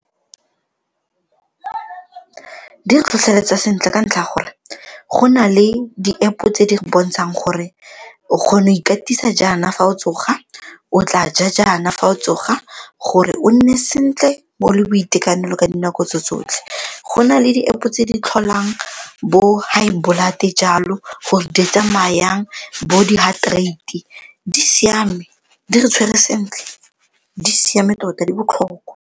Di re tlhotlheletsa sentle ka ntlha ya gore go na le di-App tse di re bontshang gore o kgona go ikatisa jaana fa o tsoga, o tla ja jaana fa o tsoga gore o nne sentle o le boitekanelo ka dinako tse tsotlhe. Go na le di-App tse di tlholang bo high blood jalo gore di tsamaya jang, bo di-heart rate di siame di re tshwere sentle di siame tota di botlhokwa.